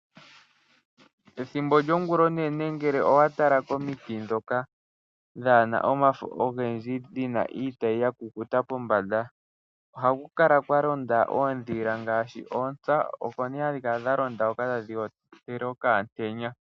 Ethimbo lyongulonene ngele owa tala komiti ndhoka dhaa na omafo ogendji dhi na iitayi ya kukuta pombanda ohaku kala kwa nambela oondhila ngaashi oontsa, oko hadhi kala dha londa hoka tadhi ontele okaantenya.